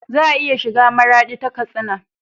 Za a iya shiga maradi ta katsina